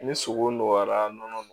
Ni sogo nɔgɔyara nɔnɔ